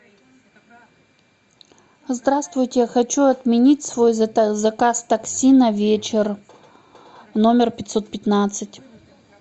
здравствуйте хочу отменить свой заказ такси на вечер номер пятьсот пятнадцать